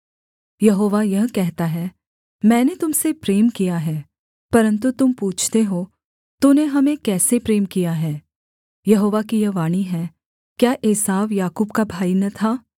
यहोवा यह कहता है मैंने तुम से प्रेम किया है परन्तु तुम पूछते हो तूने हमें कैसे प्रेम किया है यहोवा की यह वाणी है क्या एसाव याकूब का भाई न था